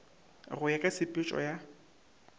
go ya ka tshepetšo ya